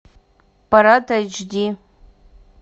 парад эйч ди